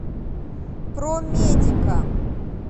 промедика